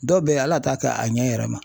Dɔw bɛ ye al'a t'a kɛ a ɲɛ yɛrɛ ma.